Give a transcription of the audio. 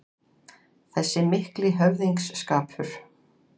Þessi mikli höfðingsskapur